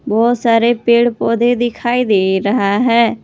बहोत सारे पेड़ पौधे दिखाई दे रहा है।